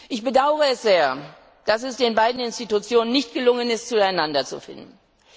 Ich bedaure es sehr, dass es den beiden Institutionen nicht gelungen ist, zueinander zu finden.